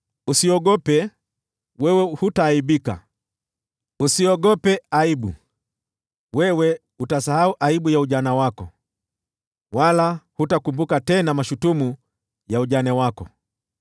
“Usiogope, wewe hutaaibika. Usiogope aibu, wewe hutaaibishwa. Wewe utasahau aibu ya ujana wako, wala hutakumbuka tena mashutumu ya ujane wako.